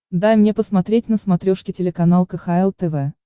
дай мне посмотреть на смотрешке телеканал кхл тв